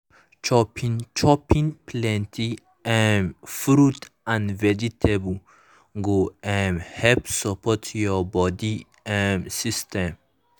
chopping chopping plenty um fruit and vegetables go um help support your body um system.